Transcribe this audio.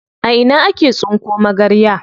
A ina ake tsinko magarya?